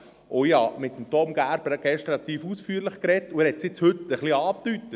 Ich habe mit Tom Gerber gestern relativ ausführlich gesprochen, und er hat es heute auch ein bisschen angedeutet.